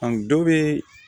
dɔ bɛ